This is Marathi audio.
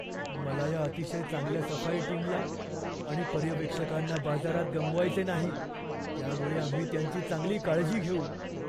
मला या अतिशय चांगल्या सफाई टीमला आणि पर्यवेक्षकांना बाजारात गमावायचे नाही. त्यामुळे आम्ही त्यांची चांगली काळजी घेऊ.